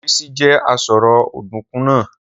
Rísí je àsáró ọ̀dùnkún náà